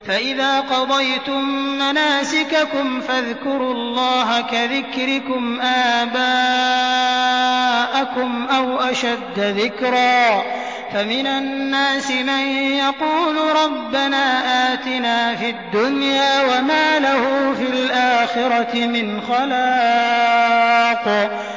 فَإِذَا قَضَيْتُم مَّنَاسِكَكُمْ فَاذْكُرُوا اللَّهَ كَذِكْرِكُمْ آبَاءَكُمْ أَوْ أَشَدَّ ذِكْرًا ۗ فَمِنَ النَّاسِ مَن يَقُولُ رَبَّنَا آتِنَا فِي الدُّنْيَا وَمَا لَهُ فِي الْآخِرَةِ مِنْ خَلَاقٍ